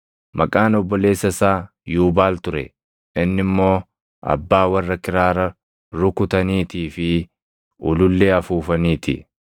Maqaan obboleessa isaa Yuubaal ture; inni immoo abbaa warra kiraara rukutaniitii fi ulullee afuufanii ti.